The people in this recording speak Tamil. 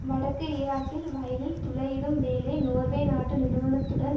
வடக்கு ஈராக்கில் வயலில் துளையிடும் வேலை நோர்வே நாட்டு நிறுவனத்துடன்